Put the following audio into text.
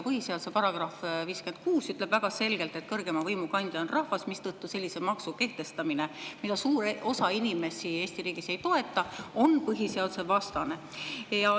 Põhiseaduse § 56 ütleb väga selgelt, et kõrgeima võimu kandja on rahvas, mistõttu sellise maksu kehtestamine, mida suur osa inimesi Eesti riigis ei toeta, on põhiseadusevastane.